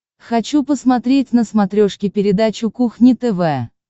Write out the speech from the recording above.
хочу посмотреть на смотрешке передачу кухня тв